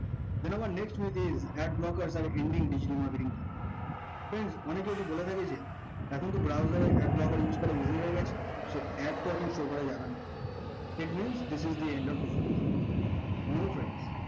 then আমার next topic ad blockers are ending digital marketing view friends অনেকেই বলে থাকে যে এখন তো browser ad blocker use করা বিলীন হয়ে গেছে ad তো এখন show করা যাবে না তেমনি this is the end of the